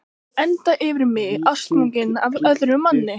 Enda yfir mig ástfangin af öðrum manni.